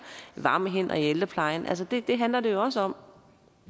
varme hænder i ældreplejen altså det det handler det jo også om